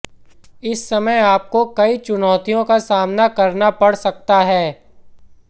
इस समय आपको कई चुनौतियों का सामना करना पड़ सकता है